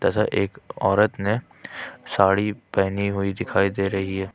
इधर एक औरत ने साडी पहनी हुई दिखाई दे रही है।